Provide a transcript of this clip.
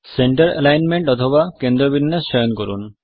centre alignment অথবা কেন্দ্র বিন্যাস চয়ন করুন